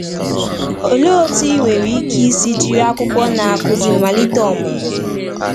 Olee otú i nwere ike isi jiri akwụkwọ Na-akụzi malite ọmụmụ?